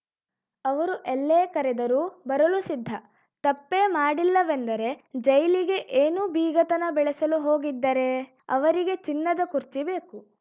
ಅವರು ಎಲ್ಲೇ ಕರೆದರೂ ಬರಲು ಸಿದ್ಧ ತಪ್ಪೇ ಮಾಡಿಲ್ಲವೆಂದರೆ ಜೈಲಿಗೆ ಏನು ಬೀಗತನ ಬೆಳೆಸಲು ಹೋಗಿದ್ದರೇ ಅವರಿಗೆ ಚಿನ್ನದ ಕುರ್ಚಿ ಬೇಕು